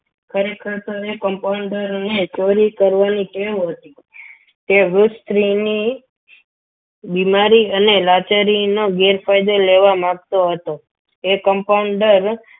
ખરેખર તો એ compounder ને કોરી કરવાની ટેવ હતી તે વૃદ્ધ સ્ત્રીની બીમારી અને લાચારીના ગેરફાયદો લેવા માગતો હતો તે compounder